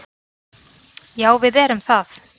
Já, við erum það.